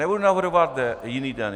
Nebudu navrhovat jiný den.